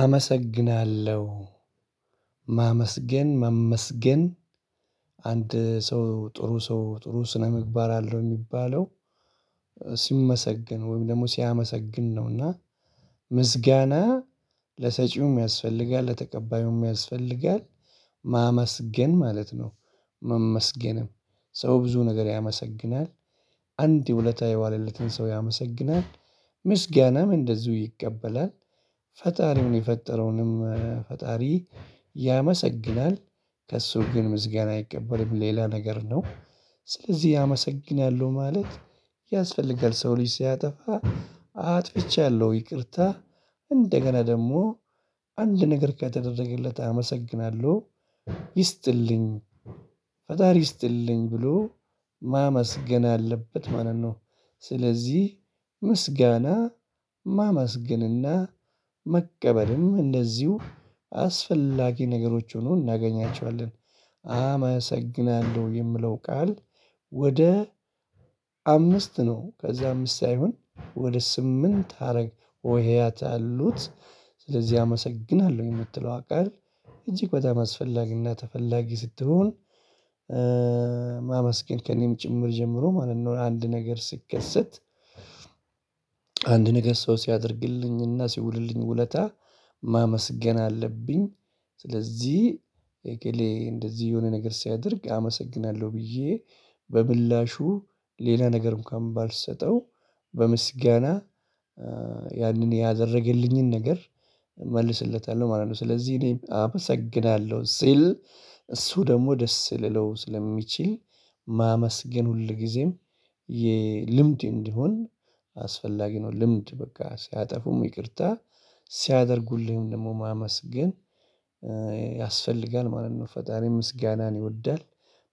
አመሰግናለሁ ማመስገን መመስገን አንድ ሰው ጥሩ ሰው ጥሩ ስነምግባር አለው ሚባለው ሲመሰገን ወይም ደግሞ ሲያመሰግን ነውና ምስጋና ለሰጪውም ያስፈልጋል ለተቀባዩም ያስፈልጋል። ማመስገን ማለት ነው። መመስገንም ሰው ብዙ ነገር ያመሰግናል። አንድ የውለታ የዋለለትን ሰው ያመሰግናል። ምስጋናም እንደዚሁ ይቀበላል ፈጣሪውን የፈጠረውንም ፈጣሪ ያመሰግናል። ከእሱ ግን ምስጋና አይቀበልም ሌላ ነገር ነው። ስለዚህ ያመሰግናሉ ማለት። ያስፈልጋል ሰው ልጅ ሲያጠፋ አጥፍቻለሁ ይቅርታ እንደገና ደግሞ አንድ ነገር ከተደረገለት አመሰግናለሁ። ይስጥልኝ ፈጣሪ ይስጥልኝ ብሎ ማመስገን አለበት ማለት ነው። ስለዚህ ምስጋና ማመስገንና መቀበልም እንደዚሁ አስፈላጊ ነገሮች ሆኖ እናገኛቸዋለን። አመሰግናለሁ የምለው ቃል ወደ አምስት ነው ከዛ አምስት ሳይሆን ወደ ስምንት ሀረግ ሆሄያት አሉት። ስለዚህ አመሰግናለሁ የምትለው ቃል እጅግ በጣም አስፈላጊና ተፈላጊ ስትሆን። ማመስገን ከእኔም ጭምር ጀምሮ ማለት ነው አንድ ነገር ሲትከሰት። አንድ ነገር ሰው ሲያደርግልኝና ሲውልልኝ ውለታ ማመስገን አለብኝ። ስለዚህ እገሌ እንደዚህ የሆነ ነገር ሲያደርግ አመሰግናለሁ ብዬ በምላሹ ሌላ ነገር እንኳን ባልሰጠው በምስጋና ያንን ያደረገልኝን ነገር እመልስለታለሁ ማለት ነው። ስለዚህ እኔ አመሰግናለሁ ሲል እሱ ደግሞ ደስ ሊለው ስለሚችል ማመስገን ሁል ጊዜም ልምድ እንዲሆን አስፈላጊ ነው። ልምድ በቃ ሲያጠፉም ይቅርታ ሲያደርጉልህም ደግሞ ማመስገን ያስፈልጋል ማለት ነው። ፈጣሪ ምስጋናን ይወዳል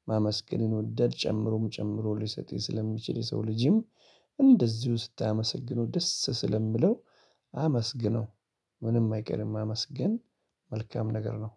ማመስገን ይወዳል ጨምሮም ጨምሮ ሊሰጥ ይሄ ስለሚችል የሰው ልጅም እንደዚሁ ስታመሰግነው ደስ ስለሚለው አመስግነው ምንም አይቀርም ማመስግን መልካም ነገር ነው